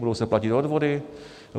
Budou se platit odvody.